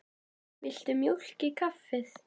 Viltu mjólk í kaffið?